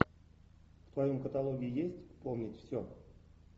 в твоем каталоге есть помнить все